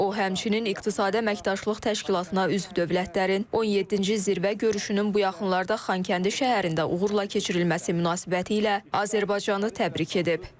O, həmçinin İqtisadi Əməkdaşlıq Təşkilatına üzv dövlətlərin 17-ci zirvə görüşünün bu yaxınlarda Xankəndi şəhərində uğurla keçirilməsi münasibətilə Azərbaycanı təbrik edib.